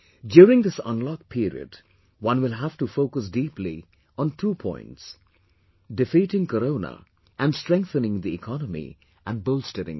During this unlock period, one will have to focus deeply on two points defeating corona and strengthening the economy and bolstering it